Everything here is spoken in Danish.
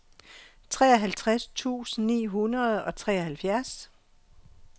treoghalvtreds tusind ni hundrede og treoghalvfjerds